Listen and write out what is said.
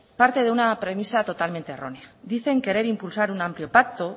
parte de una premisa totalmente errónea dicen querer impulsar un amplio pacto